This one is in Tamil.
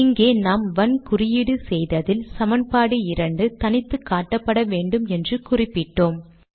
இங்கே நாம் வன் குறியீடு செய்ததில் சமன்பாடு 2 தனித்து காட்டப்பட வேண்டும் என்று குறிப்பிட்டோம்